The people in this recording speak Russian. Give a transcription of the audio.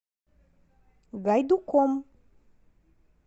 гайдуком